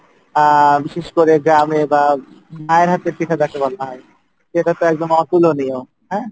আহ বিশেষ করে গ্রামে বা মায়ের হাতের পিঠা যাকে বলা হয়, সেটা তো একদম অতুলনীয় হ্যাঁ